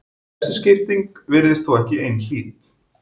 Þessi skipting virðist þó ekki einhlít.